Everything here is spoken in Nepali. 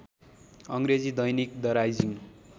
अङ्ग्रेजी दैनिक द राइजिङ